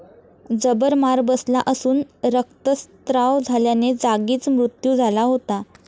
जबर मार बसला असून, रक्तस्राव झाल्याने जागीच मृत्यू झाला होता.